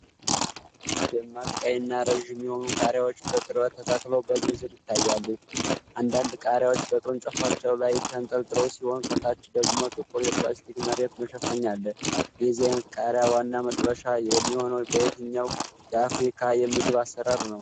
ደማቅ ቀይና ረዥም የሆኑ ቃሪያዎች በቅርበት ተተክለው በዝርዝር ይታያሉ። አንዳንድ ቃሪያዎች በቅርንጫፎቻቸው ላይ ተንጠልጥለው ሲሆን፣ ከታች ደግሞ ጥቁር የፕላስቲክ መሬት መሸፈኛ አለ። የዚህ አይነት ቃሪያ ዋና መጥፈሻ የሚሆነው በየትኛው የአፍሪካ የምግብ አሰራር ነው?